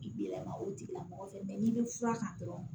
I bɛ yɛlɛma o tigilamɔgɔ fɛ n'i bɛ fura kan dɔrɔn